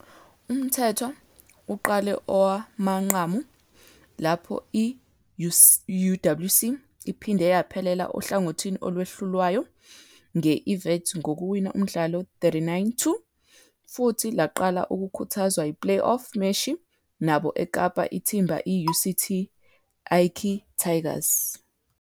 UMthethwa uqale owamanqamu, lapho i-UWC iphinde yaphelela ohlangothini olwehlulwayo, nge IWits ngokuwina umdlalo 39-2,futhi laqala ukukhuthazwa play-off meshi nabo eKapa ithimba I-UCT Ikey Tigers.